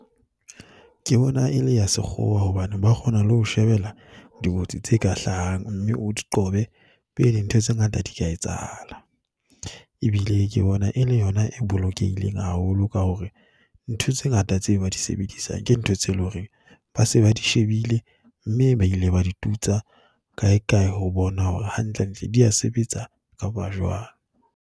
Ke bona e le ya sekgowa hobane ba kgona le ho shebela dikotsi tse ka hlahang mme o di qobe pele ntho tse ngata di ka etsahala. Ebile ke bona e le yona e bolokehileng haholo ka hore ntho tse ngata tse ba di sebedisang ke ntho tse leng hore ba se ba di shebile mme ba ile ba di tutsa kaekae ho bona hore hantlentle di a sebetsa kapa jwang.